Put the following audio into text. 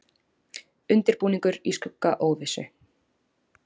Undirbúningur í skugga óvissu